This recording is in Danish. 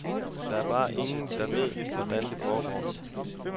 Der er bare ingen, der ved, hvordan det foregår.